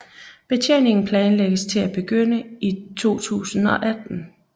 Betjeningen planlægges til at begynde i 2018